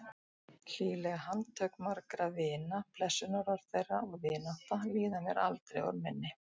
Hlýleg handtök margra vina, blessunarorð þeirra og vinátta, líða mér aldrei úr minni.